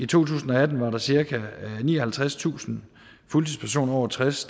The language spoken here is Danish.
tusind og atten var der cirka nioghalvtredstusind fuldtidspersoner over tres